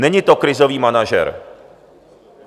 Není to krizový manažer.